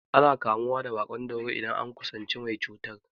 Ana kamuwa da baƙon dauro idan an kusanci mai cutar.